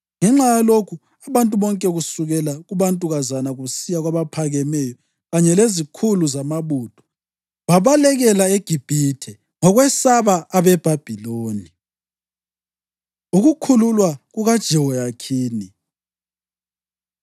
Ngenxa yalokhu, abantu bonke kusukela kubantukazana kusiya kwabaphakemeyo, kanye lezikhulu zamabutho, babalekela eGibhithe ngokwesaba abeBhabhiloni. Ukukhululwa KukaJehoyakhini